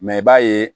Mɛ i b'a ye